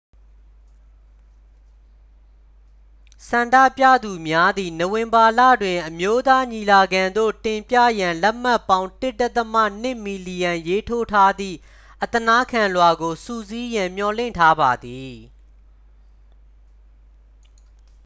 ဆန္ဒပြသူများသည် နိုဝင်ဘာလတွင် အမျိုးသားညီလာခံသို့ တင်ပြရန်လက်မှတ်ပေါင်း 1.2 မီလီယံရေးထိုးထားသည့် အသနားခံလွှာကို စုစည်းရန် မျှော်လင့်ထားပါသည်